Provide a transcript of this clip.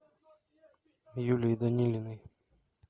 юлии данилиной